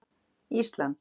Ísland